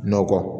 Nɔkɔ